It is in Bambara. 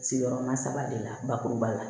Sigiyɔrɔma saba de la bakuruba la